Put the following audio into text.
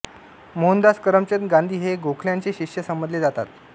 मोहनदास करमचंद गांधी हे गोखल्यांचे शिष्य समजले जातात